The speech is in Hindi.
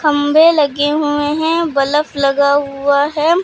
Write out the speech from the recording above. खंभे लगे हुए हैं बलफ लगा हुआ है।